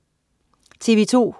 TV2: